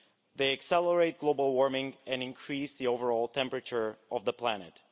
They accelerate global warming and increase the overall temperature of the planet.